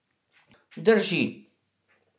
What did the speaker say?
Drži.